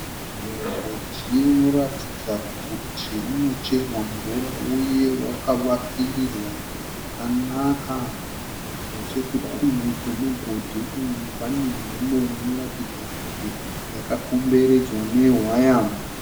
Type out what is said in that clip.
Mugodhi unoratidza kuti unocherwa mvura uye wakavakirirwa zvakanaka. Nechekudivi kwemugodhi uyu panenzvimbo inoratidza kuti yakakomberedzwa nehwaya.